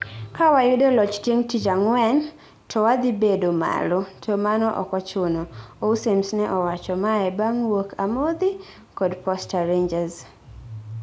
ka wayudoloch chieng tich angwen towadhibedo malo, to mano okochuno, Aussems ne owacho mae bang wuok amodhi kod Posta rangers